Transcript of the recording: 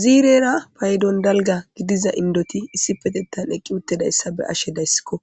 Ziirera paydon dalga gidiza indoti issi petettan eqqi uttidayssa be ashe dayssikko